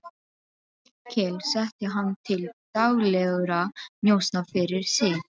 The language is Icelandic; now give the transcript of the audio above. Hallkel setti hann til daglegra njósna fyrir sig.